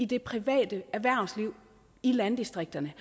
det private erhvervsliv i landdistrikterne